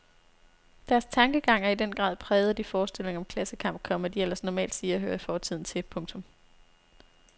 Deres tankegang er i den grad præget af de forestillinger om klassekamp, komma de ellers normalt siger hører fortiden til. punktum